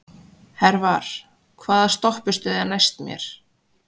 Hervar, hvaða stoppistöð er næst mér?